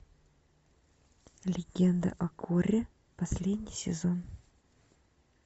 легенда о корре последний сезон